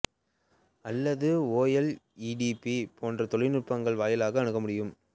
அல்லது O L E D B போன்ற தொழில்நுட்பங்கள் வாயிலாக அணுக முடியும்